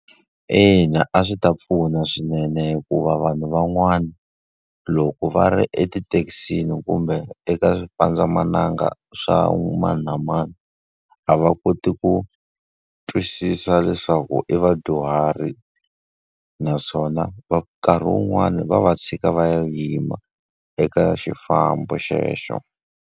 Ina a swi ta pfuna swinene hikuva vanhu van'wana, loko va ri etithekisini kumbe eka xipandzamananga swa mani na mani, a va kote ku twisisa leswaku i vadyuhari. Naswona nkarhi wun'wani va va tshika va yima eka xifambo xexo.